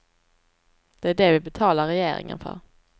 Det är det vi betalar regeringen för.